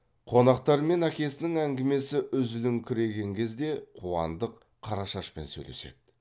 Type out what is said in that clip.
қонақтар мен әкесінің әңгімесі үзіліңкіреген кезде қуандық қарашашпен сөйлеседі